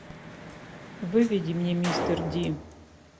выведи мне мистер ди